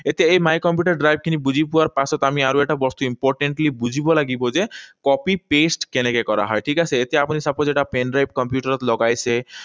এতিয়া এই my computer drive খিনি বুজি পোৱাৰ পিছত আমি আৰু এটা বস্তু importantly বুজিব লাগিব যে copy, paste কেনেকে কৰা হয়, ঠিক আছে? এতিয়া আপুনি suppose এটা pendrive কম্পিউটাৰত লগাইছে।